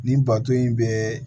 Nin bato in bɛ